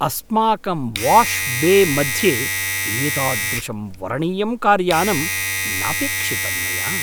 अस्माकं वाश् बे मध्ये एतादृशं वरणीयं कार्यानम् नापेक्षितं मया।